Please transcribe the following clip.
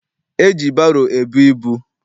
E ji baro ebu ibu.